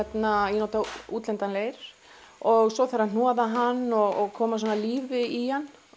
ég nota útlendan leir og svo þarf að hnoða hann og koma svona lífi í hann